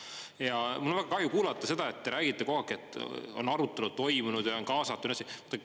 Ja mul on väga kahju kuulata seda, et te räägite kogu aeg, et on arutelu toimunud ja on kaasatud.